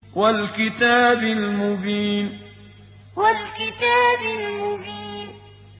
وَالْكِتَابِ الْمُبِينِ وَالْكِتَابِ الْمُبِينِ